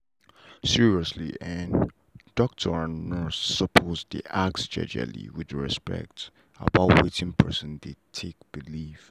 seriously en doctor and nurse suppose dey ask jejely with respect about watin person dey take believe.